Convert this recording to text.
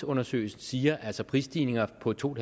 undersøgelse siger altså prisstigninger på to